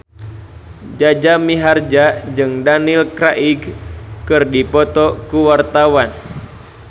Jaja Mihardja jeung Daniel Craig keur dipoto ku wartawan